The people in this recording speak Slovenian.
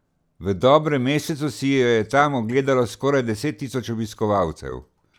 V dobrem mesecu si jo je tam ogledalo skoraj deset tisoč obiskovalcev.